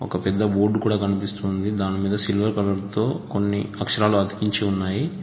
పెద్ద బోర్డు కూడా కనిపిస్తుంది దానిమీద సిల్వర్ కలర్ తో కొన్ని అక్షరాలు అతికించి ఉన్నాయి.